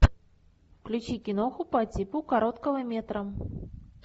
включи киноху по типу короткого метра